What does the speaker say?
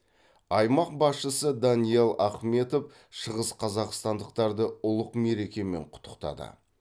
аймақ басшысы даниал ахметов шығысқазақстандықтарды ұлық мерекемен құттықтады